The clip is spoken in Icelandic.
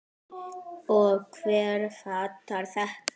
Og hver fattar þetta?